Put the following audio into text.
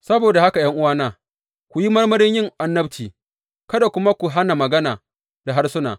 Saboda haka ’yan’uwana, ku yi marmarin yin annabci, kada kuma ku hana magana da harsuna.